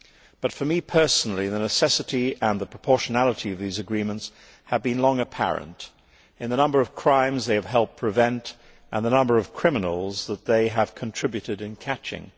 But, for me personally, the necessity and the proportionality of these agreements have been long apparent from the number of crimes they have helped prevent, and the number of criminals that they have contributed to catching.